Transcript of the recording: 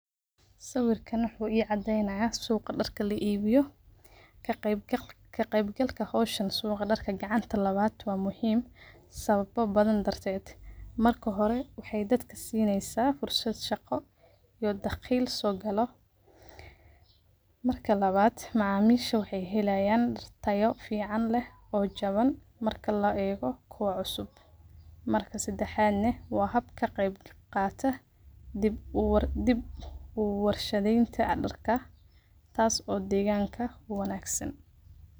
Sawirka wuxu cadeynaya suqa darka luguibiyo kaqeybgal howshan suqa darka wa muhiim sawaba darted marka hore wexey dadka sineysa fursad shaqo iyo dhaqli sogalo marka lawad macamisha wexey helayan darka tsyo leeh oo qimo jawan marka loego kuwa kale marka sadexdna wa habka kaqeyb galka diib uwarshadenta darka taas oo deganka uwanagsan.